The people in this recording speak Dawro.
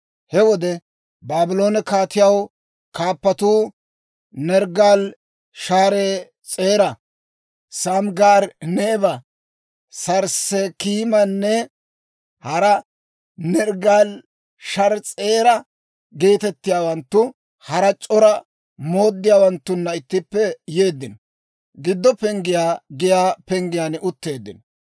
He wode Baabloone kaatiyaa kaappatuu, Nerggaali-Sharees'era, Samggari-Neba, Sarssekiimanne hara Nerggaali-Sharees'era geetettiyaawanttu, hara c'ora mooddiyaawanttunna ittippe yeeddino; Giddo Penggiyaa giyaa penggiyaan utteeddino.